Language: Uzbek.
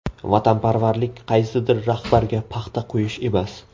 Vatanparvarlik qaysidir rahbarga paxta qo‘yish emas.